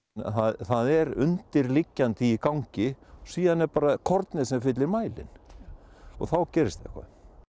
það er undirliggjandi í gangi og síðan er bara kornið sem fyllti mælinn og þá gerist eitthvað